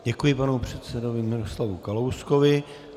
Děkuji panu předsedovi Miroslavu Kalouskovi.